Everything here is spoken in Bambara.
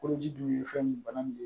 Koloji dun ye fɛn min ye bana min don